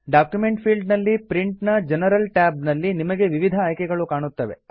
document field ನಲ್ಲಿ print ನ general tab ನಲ್ಲಿ ನಿಮಗೆ ವಿವಿಧ ಆಯ್ಕೆಗಳು ಕಾಣುತ್ತವೆ